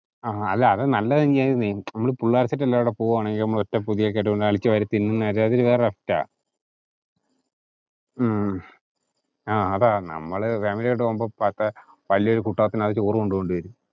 ആഹ് ആ അത് നല്ലതു തന്നെ ആണെന്നെ, നമ്മള് പിള്ളാര് set എല്ലാരും കൂടെ പോവാണെങ്കിൽ നമ്മൾ ഒറ്റപ്പൊതിയായിട്ടു അളിച്ചു വാരി തിന്നുന്നത് ഒക്കെ അത് വേറൊരു asset ആ. ഹും ആ അതാ, നമ്മള് family ആയിട്ടു പോകുമ്പോ പത്ത്‌~ വലിയൊരു കുട്ടകത്തിനകത്തു ചോറ് കൊണ്ടുപോകേണ്ടി വരും.